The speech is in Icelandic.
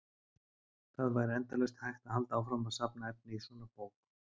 Það væri endalaust hægt að halda áfram að safna efni í svona bók.